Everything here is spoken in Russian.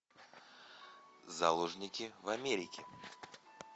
заложники в америке